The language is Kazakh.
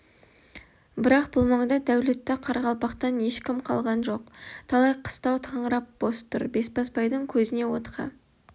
бірақ бұл маңда дәулетті қарақалпақтан ешкім қалған жоқ талай қыстау қаңырап бос тұр бесбасбайдың көзіне отқа